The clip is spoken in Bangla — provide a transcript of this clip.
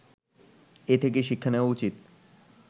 এ থেকে শিক্ষা নেওয়া উচিৎ